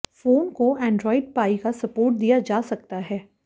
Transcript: phone को Android Pie का support दिया जा सकता है